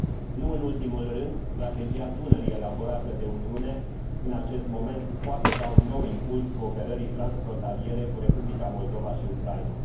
Nu în ultimul rând, Strategia Dunării elaborată de Uniune în acest moment poate da un nou impuls cooperării transfrontaliere cu Republica Moldova și Ucraina.